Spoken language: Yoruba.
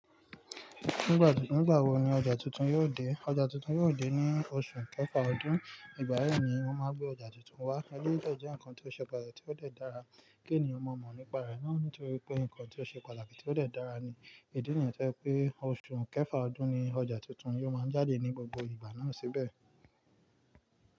Ní ìgbà wo ni ọjà tuntun yóò dé? Ọjà tuntun yóò dé ní oṣù kẹfà ọdún. Ìgbà yi ni wọ́n máa n gbé ọjà tuntun wá. Éléyì dè jẹ́ nǹkan tó ṣẹ pàtàkì tí ó dẹ̀ dára kí ènìyàn mọ̀ mọ̀ nípa rẹ̀ náà nítorí pé nǹkan tí ó ṣe pàtàkì tí ó dẹ̀ dára ni. Ìdí nìyẹn jẹ́ pé oṣù kẹfà ọdún ni ọjà tuntun yóò máa jáde ní gbogbo ìgbà náà síbẹ̀.